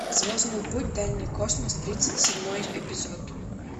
звездный путь дальний космос тридцать седьмой эпизод